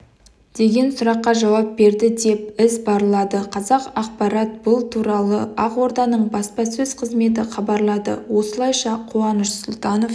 деген сұраққа жауап берді деп іабарлады қазақпарат бұл туралы ақорданың баспасөз қызметі хабарлады осылайша қуаныш сұлтанов